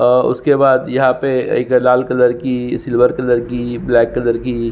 और उसके बाद यहाँ पे एगो लाल कलर की सिल्वर कलर की ब्लैक कलर की--